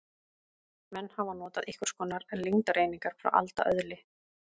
Menn hafa notað einhvers konar lengdareiningar frá alda öðli.